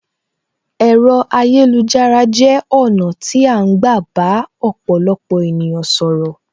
Ẹ̀rọ ayélujára jẹ ọ̀nà tí a ń gbà bá ọ̀pọ̀lọpọ̀ ènìyàn sọ̀rọ̀.